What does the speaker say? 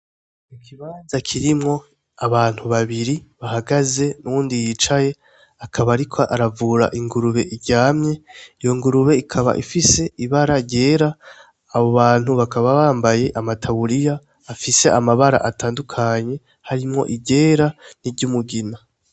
Ikibanza kirimwo abantu babiri bahagaze n'uyundi yicaye, akaba ariko aravura ingurube iryamye. Iyo ngurube ikaba ifise ibara ryera, abo bantu bakaba bambaye amataburiya afise amabara atandukanye harimwo iryera n'iryumugina.